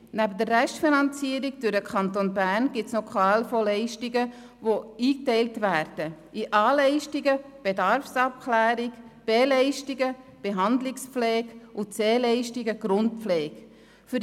Neben der Restfinanzierung durch den Kanton Bern gibt es noch Leistungen aus der Verordnung des EDI über Leistungen in der obligatorischen Krankenpflegeversicherung (Krankenpflege-Leistungsverordnung, KLV), die in A-Leistungen Bedarfsabklärung, B-Leistungen Behandlungspflege und C-Leistungen Grundpflege eingeteilt werden.